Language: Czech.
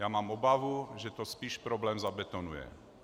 Já mám obavu, že to spíš problém zabetonuje.